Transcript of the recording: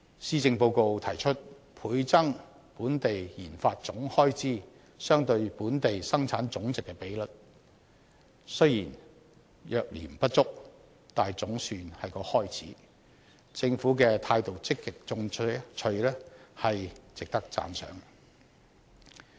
施政報告提出倍增本地研發總開支相對本地生產總值的比率，雖然略嫌不足，但總算是個開始，政府積極進取的態度，值得讚賞。